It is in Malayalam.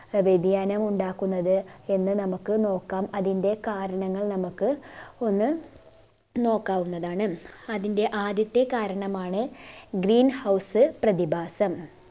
ആഹ് വ്യതിയാനം ഉണ്ടാക്കുന്നത് എന്ന് നമുക്ക് നോക്കാം അതിന്റെ കാരണങ്ങൾ നമുക്ക് ഒന്ന് നോക്കാവുന്നതാണ് അതിൻറെ ആദ്യത്തെ കാരണമാണ് green house പ്രതിഭാസം